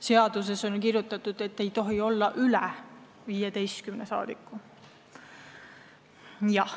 Seaduses on kirjas, et valitsuses ei tohi olla üle 15 liikme.